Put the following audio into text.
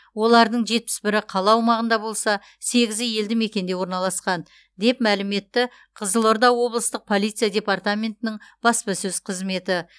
олардың жетпіс бірі қала аумағында болса сегізі елді мекенде орналасқан деп мәлім етті қызылорда облыстық полиция департаментінің баспасөз қызметі